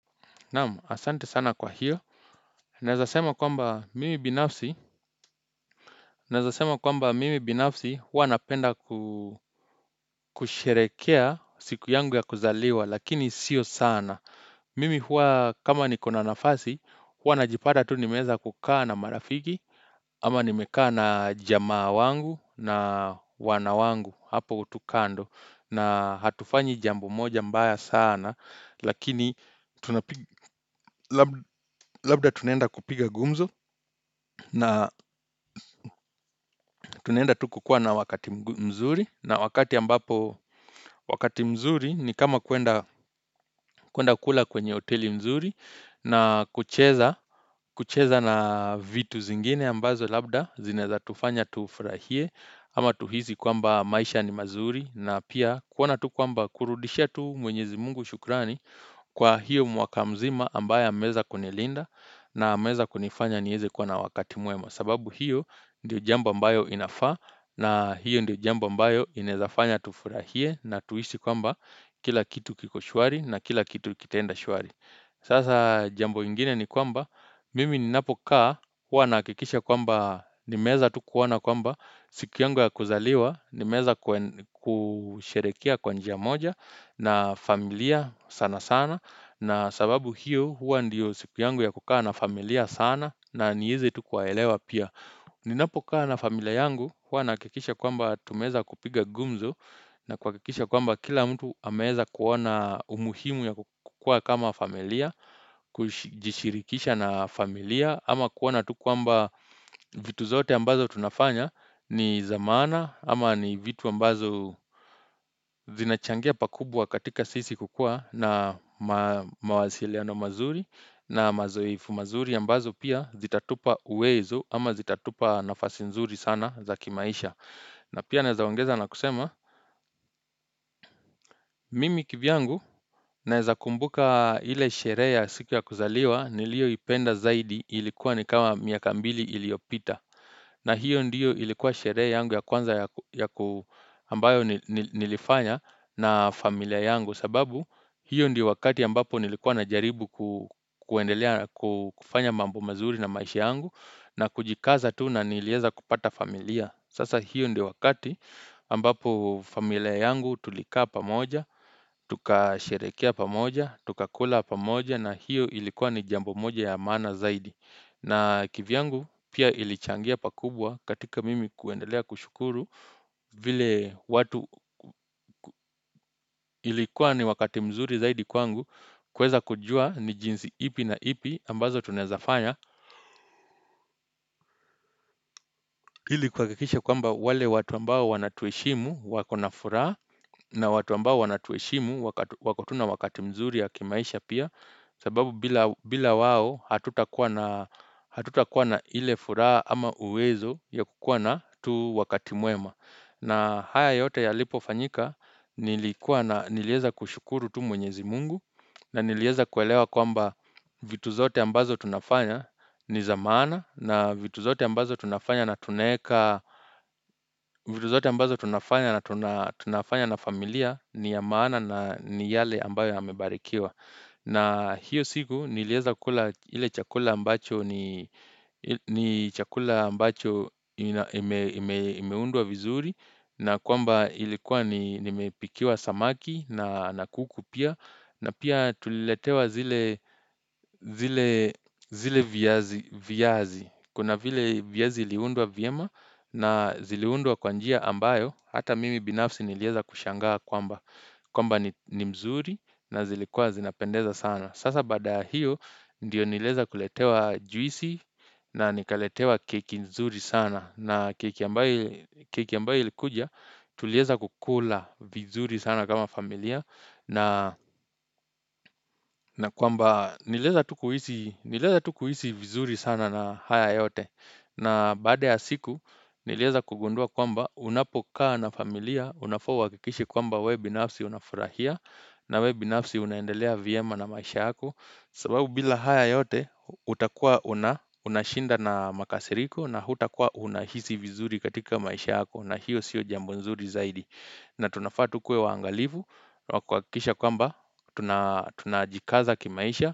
Naam, asante sana kwa hiyo. Naeza sema kwamba mimi binafsi huwa napenda kusherehekea siku yangu ya kuzaliwa lakini sio sana. Mimi huwa kama nikona nafasi huwa najipata tu nimeeza kukaa na marafiki ama nimekaa na jamaa wangu na wanawangu hapo tu kando na hatufanyi jambo moja mbaya sana lakini labda tunaenda kupiga gumzo. Na tunaenda tuku kuwa na wakati mzuri na wakati ambapo wakati mzuri ni kama kuenda kula kwenye oteli zuri na kucheza na vitu zingine ambazo labda zinaeza tufanya tufurahie ama tuhizi kwamba maisha ni mazuri na pia kuona tukwamba kurudishia tu mwenyezi mungu shukrani kwa hiyo mwaka mzima ambayo ameeza kunilinda na ameeza kunifanya nieze kuwa na wakati mwema sababu hiyo ndiyo jambo ambayo inafaa na hiyo ndiyo jambo ambayo inaezafanya tufurahie na tuisi kwamba kila kitu kikoshwari na kila kitu kitaenda shwari Sasa jambo ingine ni kwamba mimi ni napokaa huwa naakikisha kwamba nimeeza tukuona kwamba siku yangu ya kuzaliwa nimeeza kusherehekea kwa njia moja na familia sana sana na sababu hiyo huwa ndiyo siku yangu ya kukaa na familia sana na nieze tukuwaelewa pia Ninapo kaa na familia yangu huwa naakikisha kwamba tumeeza kupiga gumzo na kuakikisha kwamba kila mtu ameeza kuona umuhimu ya kukuwa kama familia Kujishirikisha na familia ama kuona tukwamba vitu zote ambazo tunafanya ni za maana ama ni vitu ambazo zinachangia pakubwa katika sisi kukuwa na mawasiliano mazuri na mazoefu mazuri ambazo pia zitatupa uwezo ama zitatupa nafasi nzuri sana za kimaisha. Na pia naeza ongeza na kusema, mimi kivyangu naeza kumbuka ile sherehe ya siku ya kuzaliwa nilio ipenda zaidi ilikuwa ni kama miaka mbili iliopita. Na hiyo ndiyo ilikuwa sherehe yangu ya kwanza ambayo nilifanya na familia yangu sababu hiyo ndiyo wakati ambapo nilikuwa na jaribu kufanya mambo mazuri na maisha yangu na kujikaza tu na nilieza kupata familia. Sasa hiyo ndio wakati ambapo familia yangu tulikaa pamoja, tukasherehekea pamoja, tukakula pamoja na hiyo ilikuwa ni jambo moja ya maana zaidi. Na kivyangu pia ilichangia pakubwa katika mimi kuendelea kushukuru vile watu ilikuwa ni wakati mzuri zaidi kwangu kuweza kujua ni jinsi ipi na ipi ambazo tunaezafanya. Hili kuakikisha kwamba wale watu ambao wanatueshimu wakona furaha na watu ambao wanatuheshimu wako tu na wakati mzuri ya kimaisha pia sababu bila wao hatuta kuwa na hile furaha ama uwezo ya kukuwa na tu wakati mwema na haya yote ya lipo fanyika nilikuwa na nilieza kushukuru tu mwenyezi mungu na nilieza kuelewa kwamba vitu zote ambazo tunafanya ni za maana na vitu zote ambazo tunafanya na tunaeka vitu zote ambazo tunafanya na tunafanya na familia ni ya maana na ni yale ambayo yamebarikiwa na hiyo siku nilieza kula ile chakula ambacho ni chakula ambacho imeundwa vizuri na kwamba ilikuwa nimepikiwa samaki na kuku pia na pia tuliletewa zile viazi. Kuna vile viazi iliundwa vyema na ziliundwa kwa njia ambayo. Hata mimi binafsi nilieza kushangaa kwamba. Kwamba ni mzuri na zilikuwa zinapendeza sana. Sasa baada ya hiyo ndiyo nilieza kuletewa juisi na nikaletewa keki nzuri sana na keki ambayo ilikuja tulieza kukula vizuri sana kama familia na kwamba nilieza tu kuhisi vizuri sana na haya yote. Na baada ya siku nilieza kugundua kwamba unapokaa na familia unafaa uakikishe kwamba we binafsi unafurahia na webinafsi unaendelea vyema na maisha yako sababu bila haya yote utakuwa unashinda na makasiriko na hutakuwa unahisi vizuri katika maisha yako na hiyo sio jambo nzuri zaidi na tunafaa tukuwe waangalivu na kuakikisha kwamba tunajikaza kimaisha.